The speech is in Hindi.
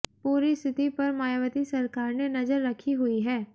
पूरी स्थिति पर मायावती सरकार ने नजर रखी हुई है